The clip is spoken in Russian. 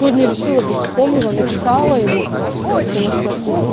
сегодня решила бы вспомнила написала ему потому что